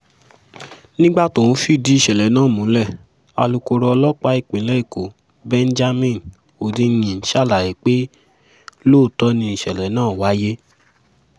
nígbà tó ń fìdí ìṣẹ̀lẹ̀ náà múlẹ̀ alūkkoro ọlọ́pàá ìpínlẹ̀ èkó benjamin hondyin ṣàlàyé pé lóòótọ́ ni ìṣẹ̀lẹ̀ náà wáyé